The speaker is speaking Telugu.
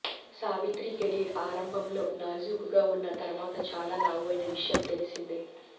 సావిత్రి కెరీర్ ఆరంభంలో నాజూకుగా ఉన్నా తర్వాత చాలా లావు అయిన విషయం తెల్సిందే